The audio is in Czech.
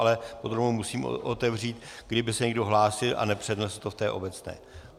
Ale podrobnou musím otevřít, kdyby se někdo hlásil a nepřednesl to v té obecné.